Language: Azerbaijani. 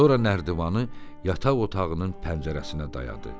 Sonra nərdivanı yataq otağının pəncərəsinə dayadı.